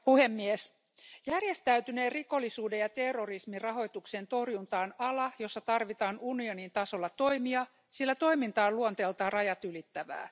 Arvoisa puhemies, järjestäytyneen rikollisuuden ja terrorismin rahoituksen torjunta on ala, jossa tarvitaan unionin tasolla toimia, sillä toiminta on luonteeltaan rajat ylittävää.